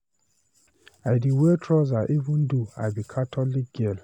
I dey wear trouser even though I be catholic girl.